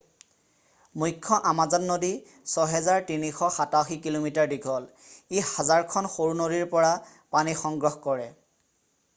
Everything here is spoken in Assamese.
মুখ্য আমাজন নদী 6,387 কিঃ মিঃ 3,980 মাইল দীঘল। ই হাজাৰখন সৰু নদীৰ পৰা পানী সংগ্ৰহ কৰে।